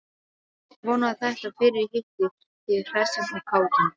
Vona að þetta fyrirhitti þig hressan og kátan.